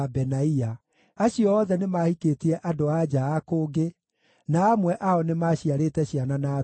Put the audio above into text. Acio othe nĩmahikĩtie andũ-a-nja a kũngĩ, na amwe ao nĩmaciarĩte ciana na atumia acio.